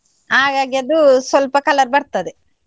ಹಾಗಾಗಿ ಅದು ಸ್ವಲ್ಪ colour ಬರ್ತದೆ.